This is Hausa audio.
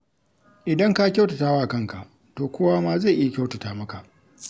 Idan ka kyautatawa kanka, to kowa ma zai iya kyautata maka.